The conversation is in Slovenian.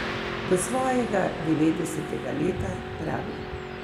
Do svojega devetdesetega leta, pravi.